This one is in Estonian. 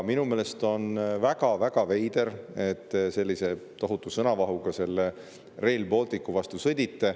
Minu meelest on väga-väga veider, et te sellise tohutu sõnavahuga Rail Balticu vastu sõdite.